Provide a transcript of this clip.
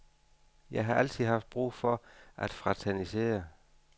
Jeg har altid haft brug for at fraternisere.